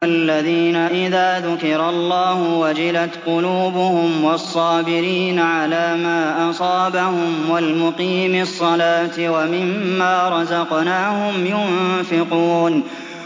الَّذِينَ إِذَا ذُكِرَ اللَّهُ وَجِلَتْ قُلُوبُهُمْ وَالصَّابِرِينَ عَلَىٰ مَا أَصَابَهُمْ وَالْمُقِيمِي الصَّلَاةِ وَمِمَّا رَزَقْنَاهُمْ يُنفِقُونَ